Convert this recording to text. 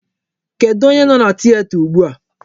Kedụ onye nọ na tieta ugbu a?